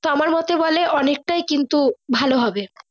তো আমার মোতে বলে অনেক টাই ভালো হবে।